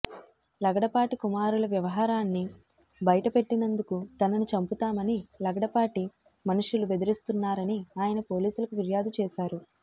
లగడపాటి కుమారుల వ్యవహారాన్ని బయట పెట్టినందుకు తనను చంపుతామని లగడపాటి మనుషులు బెదిరిస్తున్నారని ఆయన పోలీసులకు ఫిర్యాదు చేశారు